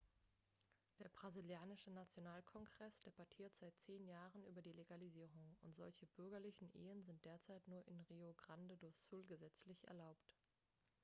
der brasilianische nationalkongress debattiert seit 10 jahren über die legalisierung und solche bürgerlichen ehen sind derzeit nur in rio grande do sul gesetzlich erlaubt